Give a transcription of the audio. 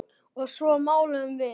Og svo máluðum við.